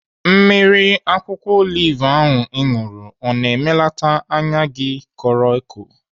Mmiri akwụkwọ olive ahụ ị ṅụrụ ọ na-emelata anya gị koro eko?